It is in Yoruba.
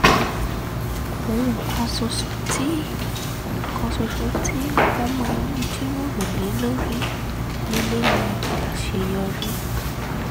ohun kan ṣoṣo tí kan ṣoṣo tí wọ́n máa ń jíròrò lé lórí nílé ni àṣeyọrí